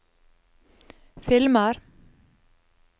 filmer